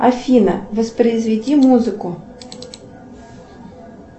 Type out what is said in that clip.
афина воспроизведи музыку